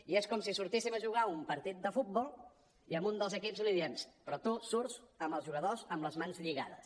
i és com si sortíssim a jugar un partit de futbol i a un dels equips li diem però tu surts amb els jugadors amb les mans lligades